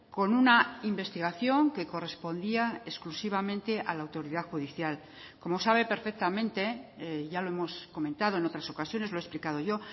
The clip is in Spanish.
con una investigación que correspondía exclusivamente a la autoridad judicial como sabe perfectamente ya lo hemos comentado en otras ocasiones lo he explicado yo